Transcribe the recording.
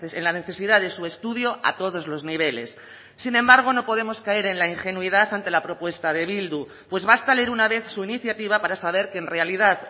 en la necesidad de su estudio a todos los niveles sin embargo no podemos caer en la ingenuidad ante la propuesta de bildu pues basta leer una vez su iniciativa para saber que en realidad